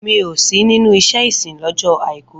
Mi ò sí nínú iṣẹ́ ìsìn lọ́jọ́ Àìkú.